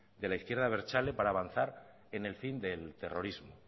de la izquierda abertzale para avanzar en el fin del terrorismo